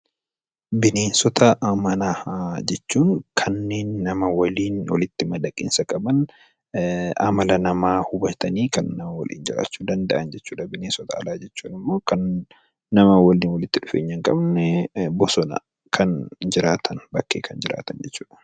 Bineensota manaa jechuun kanneen nama waliin walitti madaqiinsa qaban, amala namaa hubatanii kanneen nama waliin jiraachuu danda'an jechuudha. Bineensota alaa jechuun immoo kan nama waliin walitti dhufeenya hin qabne, bosona keessa kan jiraatan, bakkee kan jiraatan jechuudha.